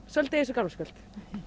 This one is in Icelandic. svolítið eins og gamlárskvöld